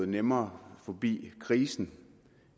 nemmere forbi krisen